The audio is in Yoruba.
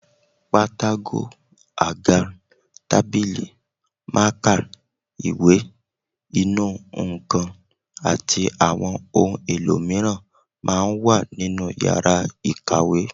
Pátákó, àga, tábìlì, mákà, ìwé, inú nǹkan àti àwọn ohun èlò mìíràn máa ń wà nínú yàrá ìkàwé